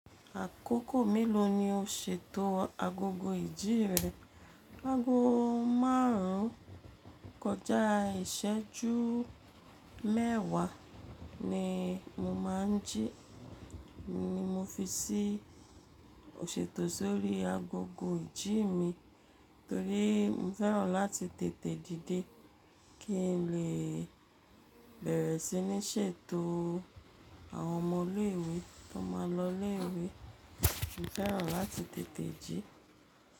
Àkókò mélòó ni o ṣètò agogo ìji rẹ? Ago márùn kọjá iṣẹju mẹwa ni mo máa ń jí, ni mo fi si iṣètò sórí agogo ìjí mi, torí mo fẹ́ràn láti tètè díde kínlè bẹ̀rẹ̀ sí ní ṣètò àwọn ọmọ ilé ìwé tó máa lọ ilé ìwé. Mo fẹ́ràn láti tètè jí.